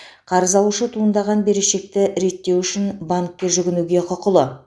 қарыз алушы туындаған берешекті реттеу үшін банкке жүгінуге құқылы